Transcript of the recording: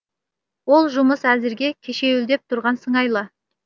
ол жұмыс әзірге кешеуілдеп тұрған сыңайлы